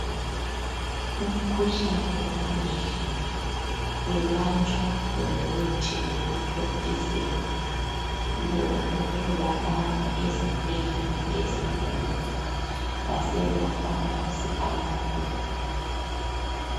Umkhuhlane wamehlo welatshwa ngomuthi wokuthontisela ,lo otholakala ezibhedlela ezinkulu ,lasemafamasi amakhulu .